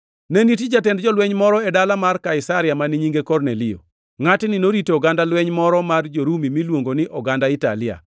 Ne nitie jatend jolweny moro e dala mar Kaisaria mane nyinge Kornelio. Ngʼatni norito oganda lweny moro mar jo-Rumi miluongo ni Oganda Italia.